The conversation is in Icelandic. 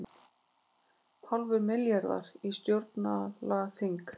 Hálfur milljarður í stjórnlagaþing